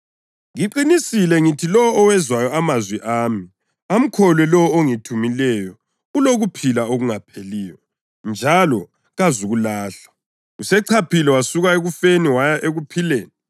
Ngiqinisile ngithi lowo owezwayo amazwi ami amkholwe lowo ongithumileyo ulokuphila okungapheliyo njalo kazukulahlwa; usechaphile wasuka ekufeni waya ekuphileni.